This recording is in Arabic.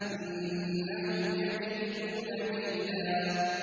إِنَّهُمْ يَكِيدُونَ كَيْدًا